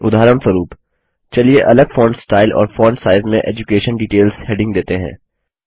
उदाहरणस्वरूप चलिए अलग फॉन्ट स्टाइल और फॉन्ट साइज में एड्यूकेशन डिटेल्स हेडिंग देते हैं